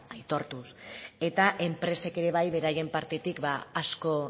aitortuz eta enpresek ere bai beraien partetik asko